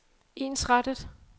ensrettet